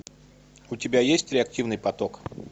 у тебя есть реактивный поток